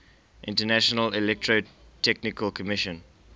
international electrotechnical commission